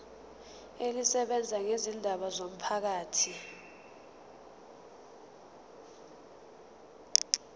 elisebenza ngezindaba zomphakathi